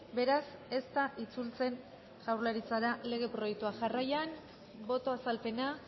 beraz ez da itzultzen jaurlaritzara lege proiektua jarraian boto azalpena